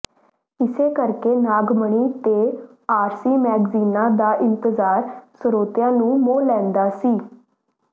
ਇਸੇ ਕਰਕੇ ਨਾਗਮਣੀ ਤੇ ਆਰਸੀ ਮੈਗਜ਼ੀਨਾਂ ਦਾ ਇੰਤਜਾਰ ਸਰੋਤਿਆ ਨੂੰ ਮੋਹ ਲੈਂਦਾਂ ਸੀ